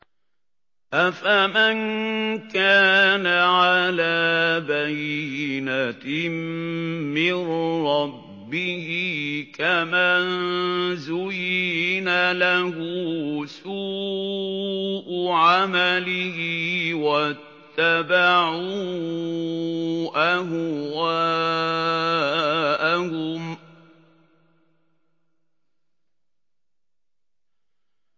أَفَمَن كَانَ عَلَىٰ بَيِّنَةٍ مِّن رَّبِّهِ كَمَن زُيِّنَ لَهُ سُوءُ عَمَلِهِ وَاتَّبَعُوا أَهْوَاءَهُم